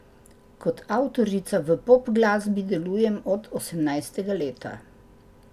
Kot avtorica v pop glasbi delujem od osemnajstega leta.